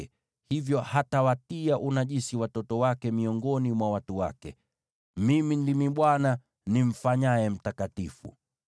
na hivyo hatawatia unajisi watoto wake miongoni mwa watu wake. Mimi ndimi Bwana , nimfanyaye mtakatifu.’ ”